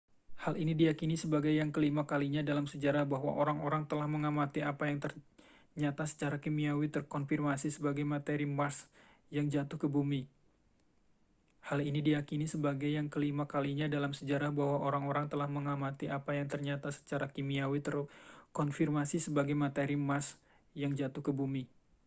hal ini diyakini sebagai yang kelima kalinya dalam sejarah bahwa orang-orang telah mengamati apa yang ternyata secara kimiawi terkonfirmasi sebagai materi mars yang jatuh ke bumi